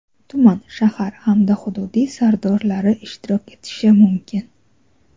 tuman (shahar) hamda hududiy sardorlari ishtirok etishi mumkin.